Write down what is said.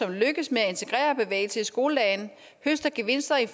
det lykkes at integrere bevægelse i skoledagen høster gevinster i